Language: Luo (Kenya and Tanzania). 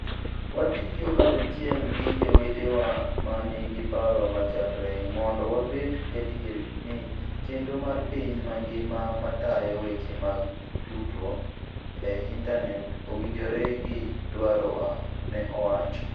Watiyo kanyachiel gi jowetewa ma nigi paro machalre, mondo wabed gadier ni chenro mar piny mangima matayo weche mag tudruok e intanet owinjore gi dwarowa, ne owacho.